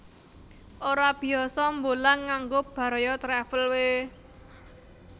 Ora biyasa mbolang nganggo Baraya Travel we